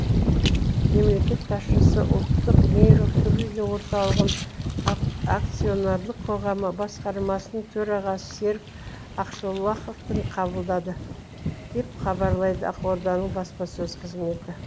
мемлекет басшысы ұлттық нейрохирургия орталығын акционерлік қоғамы басқармасының төрағасы серік ақшолақовтың қабылдады деп хабарлайды ақорданың баспасөз қызметі